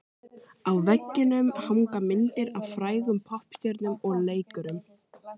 Á veggjunum hanga myndir af frægum poppstjörnum og leikurum.